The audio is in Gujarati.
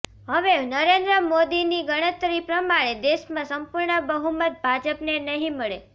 હવે નરેન્દ્ર મોદી ની ગણતરી પ્રમાણે દેશમાં સંપૂર્ણ બહુમત ભાજપ ને નહિ મળે